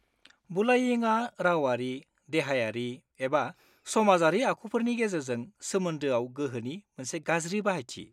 बुलायिंआ रावारि, देहायारि, एबा समाजारि आखुफोरनि गेजेरजों सोमोन्दोआव गोहोनि मोनसे गाज्रि बाहायथि।